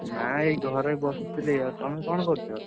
ନା ଏଇ ଘରେ ବସଥିଲି ଆଉ ତମେ କଣ କରୁଛ?